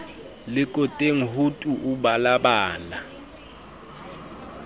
lekoteng ho tu o balabala